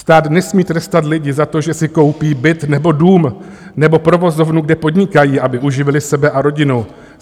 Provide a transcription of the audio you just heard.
Stát nesmí trestat lidi za to, že si koupí byt nebo dům nebo provozovnu, kde podnikají, aby uživili sebe a rodinu.